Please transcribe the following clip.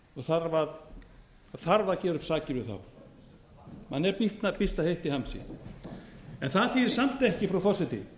það þarf að gera upp sakir við þá manni er býsna heitt í hamsi það þýðir samt ekki frú forseti